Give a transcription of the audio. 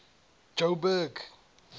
jo'burg